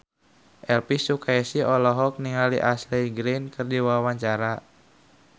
Elvy Sukaesih olohok ningali Ashley Greene keur diwawancara